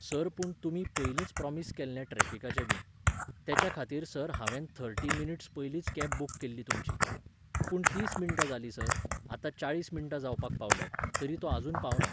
Sir पूण तुमीं पयलींच प्रॉमिस केल्लें ट्रॅफिकाचें बी. तेच्या खातीर सर, हांवेन थर्टी मिनिट्स पयलींच कॅब बूक केल्ली तुमची. पूण तीस मिण्टां जालीं सर, आतां चाळीस मिण्टां जावपाक पावल्यांत, तरी तो आजून पावना